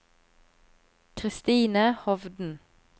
Kristine Hovden